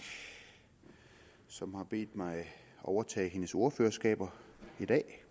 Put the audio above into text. som har bedt mig overtage hendes ordførerskab i dag